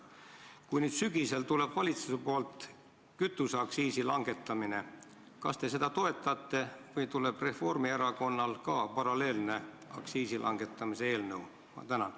Kui nüüd sügisel valitsus teeb ettepaneku kütuseaktsiisi langetada, kas te seda eelnõu toetate või tuleb Reformierakonnalt ka paralleelne kütuseaktsiisi langetamise eelnõu?